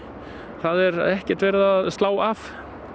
það er ekkert verið að slá af